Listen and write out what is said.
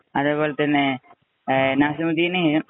അതേപോലെ തന്നെ, നസിമുദ്ദീന്,